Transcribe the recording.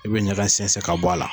I bɛ ɲaga sɛnsɛn ka bɔ a la